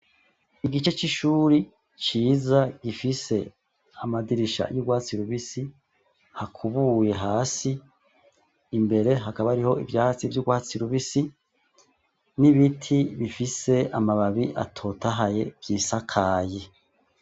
Igice c'ishuri ciza gifise amadirisha y'urwatsi rubisi, hakubuye hasi, imbere hakaba hariho ivyatsi vy'urwatsi rubisi n'ibiti bifise amababi atotahaye vyisakaye.